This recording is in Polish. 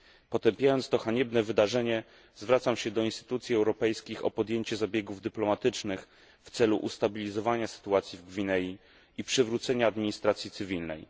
Potępiając to haniebne wydarzenie, zwracam się do instytucji europejskich o podjęcie zabiegów dyplomatycznych w celu ustabilizowania sytuacji w Gwinei i przywrócenia administracji cywilnej.